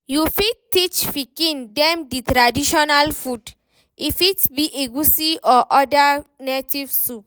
You fit teach pikin dem the traditional food, e fit be egusi or oda native soup